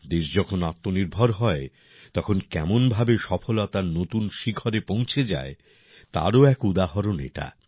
দেশ যখন আত্মনির্ভর হয় তখন কেমনভাবে সফলতার নতুন শিখরে পৌঁছে যায় তারও এক উদাহরণ এটা